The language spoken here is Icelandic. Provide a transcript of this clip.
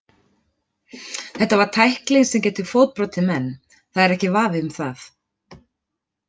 Þetta var tækling sem getur fótbrotið menn, það er ekki vafi um það.